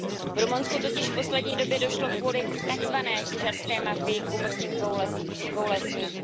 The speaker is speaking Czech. V Rumunsku totiž v poslední době došlo kvůli takzvané těžařské mafii k úmrtí dvou lesníků.